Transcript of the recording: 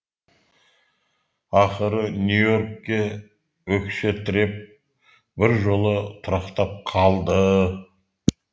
ақыры нью и оркке өкше тіреп біржола тұрақтап қалды